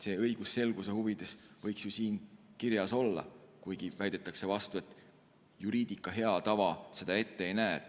See õigusselguse huvides võiks ju siin kirjas olla, kuigi väidetakse vastu, et juriidika hea tava seda ette ei näe.